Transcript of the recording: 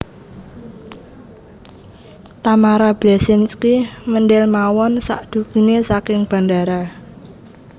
Tamara Bleszynsky mendel mawon sakdugine saking bandara